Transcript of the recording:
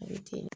A bɛ ten